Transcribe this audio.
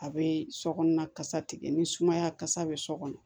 A bɛ sokɔnɔ kasa tigɛ ni sumaya kasa bɛ so kɔnɔ